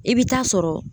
I bɛ taa sɔrɔ